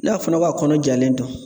N'a fɔra ko a kɔnɔ jalen don